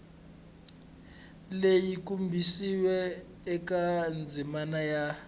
leyi kombisiweke eka ndzimana ya